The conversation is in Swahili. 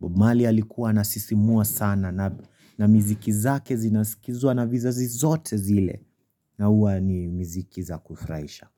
Bob Marley alikuwa anasisimua sana, na miziki zake zinasikizwa na vizazi zote zile, na huwa ni miziki za kufurahisha.